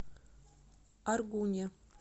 аргуне